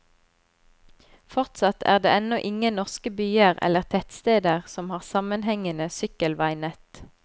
Fortsatt er det ennå ingen norske byer eller tettsteder som har sammenhengende sykkelveinett.